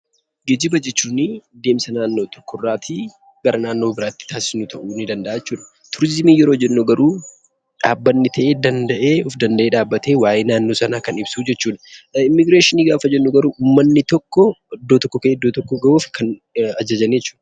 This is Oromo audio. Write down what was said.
Geejjiba jechuun deemsa naannoo tokkorraatii gara naannoo biraatti taasisnu ta'uu ni danda'a jechuudha. Turizimii yeroo jennu garuu dhaabbatni ta'e of danda'ee dhaabbatee waa'ee naannoo sanaa kan ibsu jechuudha. Immigireeshinii gaafa jennu garuu uummatni tokko iddoo tokkoo ka'ee iddoo tokko ga'uuf kan ajajani jechuudha.